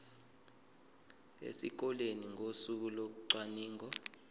esikoleni ngosuku locwaningo